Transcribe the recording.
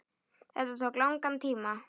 Þetta tók langan tíma.